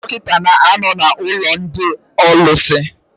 Ndị dọkịta na-ano n' ụlọ ndị ólúsi.